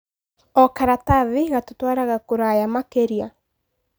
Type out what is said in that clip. O karatathi gatũtwaraga kũraya makĩria.